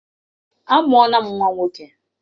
Amụọla m nwa nwoke.